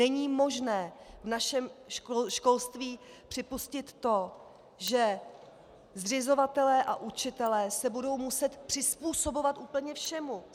Není možné v našem školství připustit to, že zřizovatelé a učitelé se budou muset přizpůsobovat úplně všemu.